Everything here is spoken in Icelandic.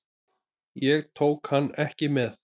Ég tók hann ekki með.